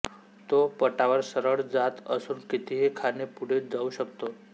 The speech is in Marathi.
तो पटावर सरळ जात असून कितीही खाणे पुढे जाऊ शकतो